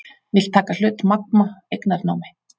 Vill taka hlut Magma eignarnámi